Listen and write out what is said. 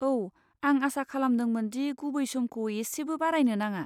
औ, आं आसा खालामदोंमोन दि गुबै समखौ एसेबो बारायनो नाङा।